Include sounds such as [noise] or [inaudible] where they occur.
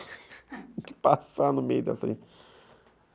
[laughs] Tenho que passar no meio dessa linha [laughs]